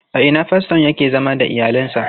A ina faston yake zama da iyalinsa?